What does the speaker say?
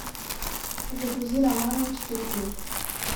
загрузи романовы четыре кей